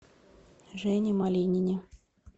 жене малинине